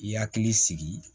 I hakili sigi